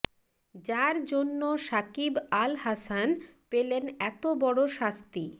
যাঁর জন্য শাকিব আল হাসান পেলেন এত বড় শাস্তি